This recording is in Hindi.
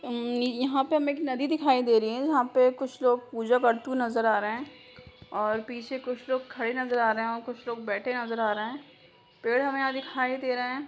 उम यहाँ पे हमे एक नदी दिखाई दे रही है जहाँ पे कुछ लोग पूजा करते हुए नज़र आ रहे हैं और पीछे कुछ लोग खड़े नजर आ रहे हैं और कुछ लोग बैठे नजर आ रहे हैं पेड़ हमे यहाँ दिखाई दे रहे हैं